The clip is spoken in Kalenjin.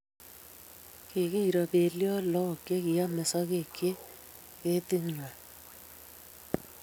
Kikiro beliot lok che kiame sokek eng keti ngwai